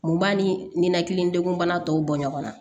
Mun b'a ni ninakili degun bana tɔw bɔ ɲɔgɔn na